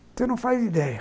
Você não faz ideia.